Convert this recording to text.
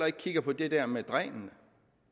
ikke kigger på det der med dræn dræn